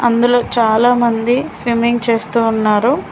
అందులో చాలామంది స్విమ్మింగ్ చేస్తూ ఉన్నారు.